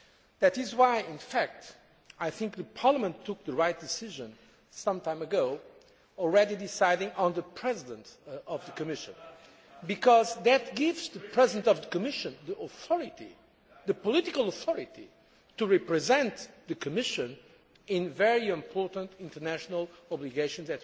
That is why I think Parliament took the right decision some time ago in already deciding on the President of the Commission, because that gives the President of the Commission the authority, the political authority, to represent the Commission in very important international obligations.